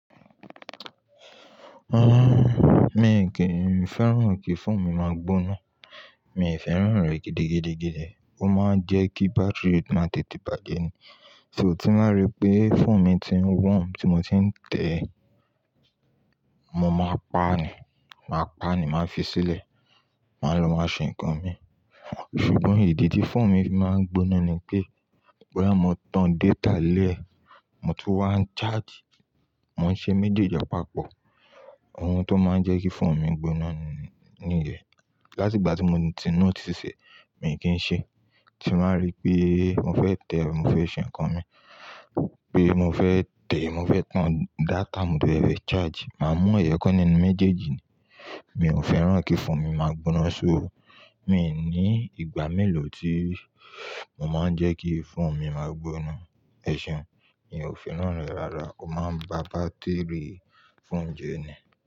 Mi kìí, mi ò fẹ́ràn kí phone mi máa gbóná. Mi ò fẹ́ràn rẹ̀ gidigidigidi. Ó máa ń jẹ́ kí battery má tètè bàjẹ́ ni. Ti mo bá rí pé phone mi ti ń wọ́n, tí mo ti ń tẹ̀ ẹ́, mo máa pa á nù, màá pa á nù, màá fi sílẹ̀, màá lọ máa ṣe nǹkan mi. Ṣùgbọ́n ìdí tí phone mi máa ń gbóná ni pé, bí mo bá tán data lẹ́ẹ̀, mo sì wá ń charge, mo ń ṣe méjèèjì papọ̀. Ohun tó máa ń jẹ́ kí phone mi gbóná ni, ni yẹ̀n. Láti ìgbà tí mo ti notice e ní mi kì n ṣe é. Ti bàá rí pé mo fẹ́ tẹ̀ ẹ́, mo fẹ́ ṣe nǹkan mi, pé mo fẹ́ tẹ̀ ẹ́, mo fẹ́ tán data, mo dé fẹ̀ charge, màá mú ẹ̀yo kan nínú méjèèjì ni. Mi ò fẹ́ràn kí phone mi máa gbóná ṣó. Mi ò ní ìgbà mélòó tí mo máa ń jẹ́ kí phone mi máa gbóná. Ẹ̀ṣeun, mi ò fẹ́ràn rẹ̀ rárá. Ó máa ń ba battery phone jẹ́ ni.